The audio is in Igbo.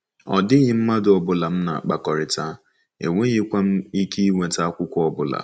Ọ dịghị mmadụ ọ bụla m na-akpakọrịta, enweghịkwa m ike inweta akwụkwọ ọ bụla.